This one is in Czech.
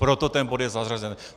Proto ten bod je zařazen.